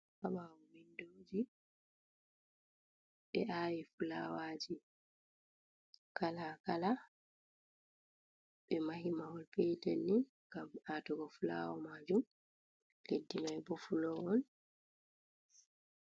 Haɓawo bindoji be awi fulawaji kala kala, ɓe mahi mawol petel ni gam atugo fulawa majum leddi mai bo fulo on.